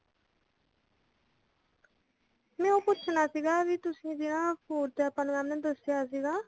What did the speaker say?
ਮੈਂ ਉਹ ਪੁੱਛਣਾ ਸੀਗਾ ਵੀ ਤੁਸੀਂ ਜਿਹੜਾ food ਦਾ ਆਪਾ ਨੂੰ mam ਨੇ ਦਸਿਆਂ ਸੀਗਾ